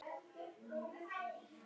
Kalt mat?